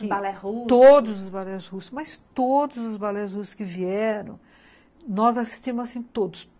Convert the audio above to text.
Balé russo... Todos os balés russos, mas todos os balés russos que vieram, nós assistimos assim todos.